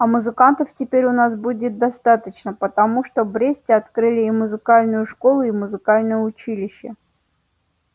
а музыкантов теперь у нас будет достаточно потому что в бресте открыли и музыкальную школу и музыкальное училище